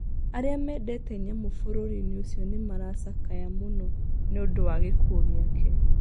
Arĩa mendete nyamũ bũrũri-inĩ ũcio nĩ maracakaya mũno nĩ ũndũ wa gĩkuũ gĩake.